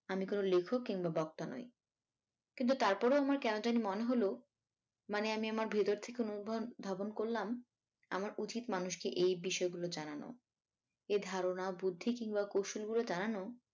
আমি কোনো লেখক কিংবা বক্তা নই কিন্তু তারপরেও আমার কেনো জানি মনে হল মানে আমি আমার ভেতর থেকে অনুভ~ধাবন করলাম আমার উচিত মানুষকে এই বিষয়গুলো জানানো এই ধারনা বুদ্ধি কিংবা কৌশল গুলো জানানো